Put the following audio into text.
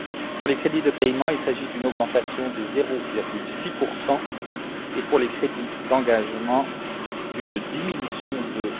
Pour les crédits de paiement, il s'agit d'une augmentation de 0,6 et pour les crédits d'engagement, d'une diminution de